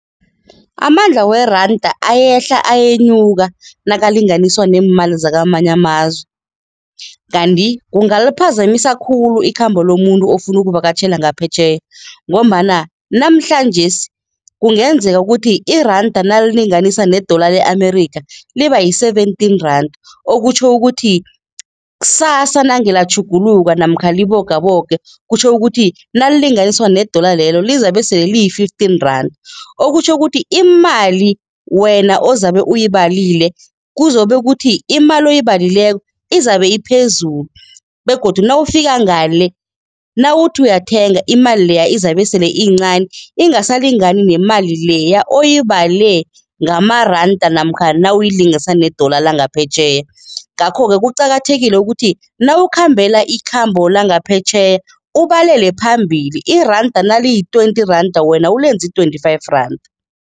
Amandla weranda ayehla ayenyuka nakalinganiswa neemali zakamanye amazwe kanti kungaliphazamisa khulu ikhambo lomuntu ofuna ukuvakatjhela ngaphetjheya ngombana namhlanjesi kungenzeka ukuthi iranda nalilinganiswa ne-dollar le-America, liba yi-seventeen randa okutjho ukuthi ksasa nange latjhuguluka namkha libogaboge, kutjho ukuthi nalilinganiswa ne-dollar lelo lizabe sele liyi-fifteen randa. Okutjho ukuthi imali wena ozabe uyibalile kuzobe kuthi imali oyibalileko izabe iphezulu begodu nawufika ngale, nawuthi uyathenga, imali leya izabe sele iyincani ingasalingani nemali leya oyibale ngamaranda namkha nawuyilinganisa ne-dollar langaphetjheya. Ngakho-ke kuqakathekile ukuthi nawukhambela ikhambo langaphetjheya ubalele phambili, iranda naliyi twenty randa, wena ulenze i-twenty-five randa.